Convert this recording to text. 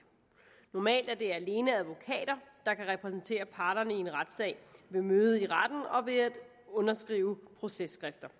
normalt er det alene advokater der kan repræsentere parterne i en retssag ved møde i retten og ved at underskrive processkrifter